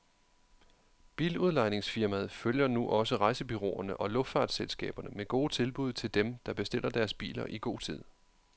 Biludlejningsfirmaet følger nu også rejsebureauerne og luftfartsselskaberne med gode tilbud til dem, der bestiller deres biler i god tid.